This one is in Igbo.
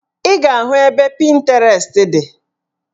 Ị ga-ahụ ebe Pịntirest dị